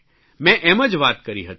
મેં એમ જ વાત કરી હતી